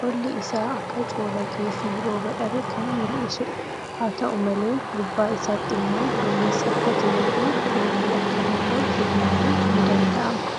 Qolli isaa akka coolagee fii roba dhabe kan mul'isuudha. Haa ta'u malee gubbaa isaatti immoo dumeessi akka jiruufi roobuu akka danda'u tilmaamun ni danda'ama.